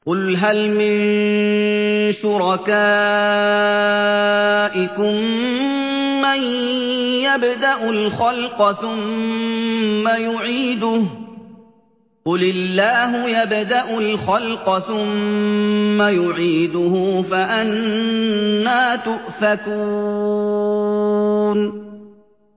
قُلْ هَلْ مِن شُرَكَائِكُم مَّن يَبْدَأُ الْخَلْقَ ثُمَّ يُعِيدُهُ ۚ قُلِ اللَّهُ يَبْدَأُ الْخَلْقَ ثُمَّ يُعِيدُهُ ۖ فَأَنَّىٰ تُؤْفَكُونَ